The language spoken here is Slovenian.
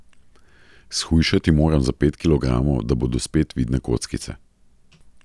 Shujšati moram za pet kilogramov, da bodo spet vidne kockice.